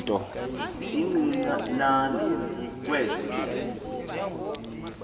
incinane kwezo ntombi